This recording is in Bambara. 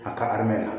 A ka la